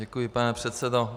Děkuji, pane předsedo.